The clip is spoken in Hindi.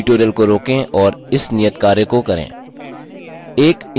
tutorial को रोकें और इस नियतकार्य को करें